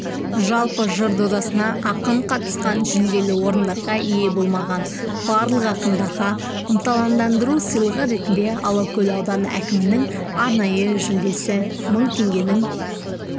жалпы жыр додасына ақын қатысқан жүлделі орындарға ие болмаған барлық ақындарға ынталандыру сыйлығы ретінде алакөл ауданы әкімінің арнайы жүлдесі мың теңгенің